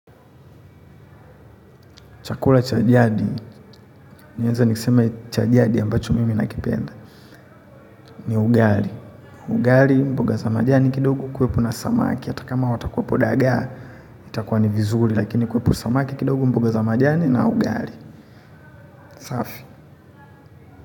Chakula cha jadi, naeza niseme cha jadi ambacho mimi nakipenda. Ni ugali. Ugali mboga za majani kidogo kuwepo na samaki. Hata kama watakuwao dagaa, itakuwa ni vizuri. Lakini kuwepo samaki kidogo mboga za majani na ugali. Safi.